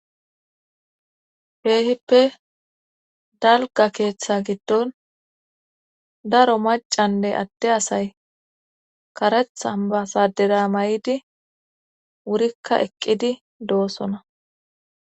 heehippe dalga keeththa giddon daro macanne adte asay karethan ba sadera may7idi wurikka eqqidi doosona